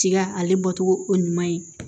Tiga ale bɔcogo o ye ɲuman ye